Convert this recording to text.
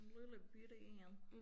En lillebitte én